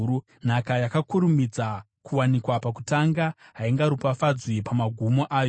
Nhaka yakakurumidza kuwanikwa pakutanga haingaropafadzwi pamagumo ayo.